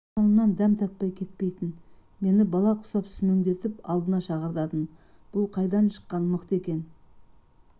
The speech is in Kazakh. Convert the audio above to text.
дастарқанымнан дәм татпай кетпейтін мен бала құсап сүмеңдетіп алдына шақыртатын бұл қайдан шыққан мықты екен